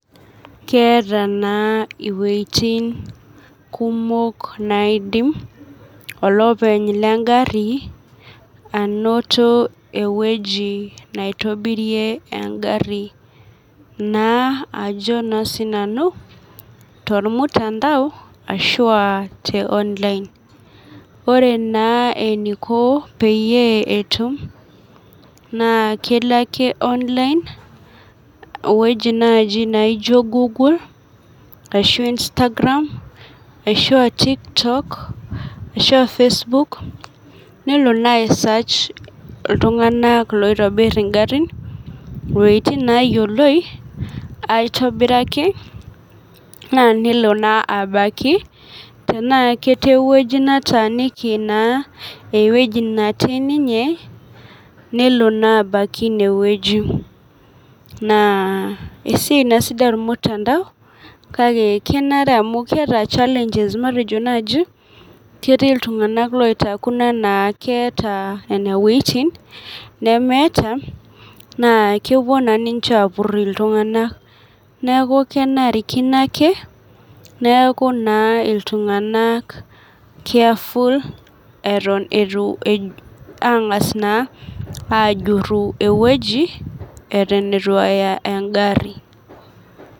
Keeta naa wejitin kumok naidim olopeny lengari anoto weji neitobirie engari naa ajo siinanu tormutandao ashua teonline ,ore naa eneiko peyie etum naa kelo ake onlineweji naaji naijo gugul ashu instagram, ashua tiktok ashua facebok nelo naa aisach iltunganak loitobiri ingarin iwejitin neyioloi naaa nelo naa abaiki tena ketii eweji netaaniki eweji netii ninye nelo naa abaiki ineweji ,naa esiai sidai ormutantao naa keeta chalenges matejo naaji ketii iltunganak oitaakuno enaa keta nina wejitin, nemeeta naa kepuo naa ninche apur iltunganak ,neeku kenarikino ake neeku iltunganak keyaful taangas naa ajuru eweji eton eitu enya engari.